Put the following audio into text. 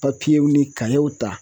w ni w ta